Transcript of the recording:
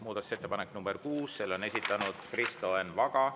Muudatusettepanek nr 6, selle on esitanud Kristo Enn Vaga.